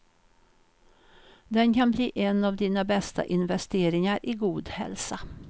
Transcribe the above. Den kan bli en av dina bästa investeringar i god hälsa.